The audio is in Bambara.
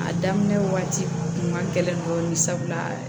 A daminɛ waati kun ka gɛlɛn dɔɔnin sabula